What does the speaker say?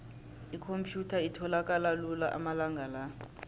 ikhomphyutha itholakala lula amalanga la